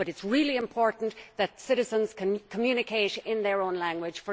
But it is really important that citizens can communicate in their own language.